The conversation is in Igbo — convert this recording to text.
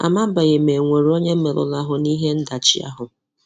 Amabèghì ma ònwere onye merụrụ ahụ n’ìhè ndàchì ahụ.